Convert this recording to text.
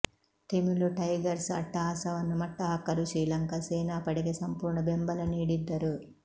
ತೆಮಿಳ್ tigers ಅಟ್ಟಹಾಸವನ್ನು ಮಟ್ಟ ಹಾಕಲು ಶ್ರೀಲಂಕಾ ಸೇನಾ ಪಡೆಗೆ ಸಂಪೂರ್ಣ ಬೆಂಬಲ ನೀಡಿದ್ದರು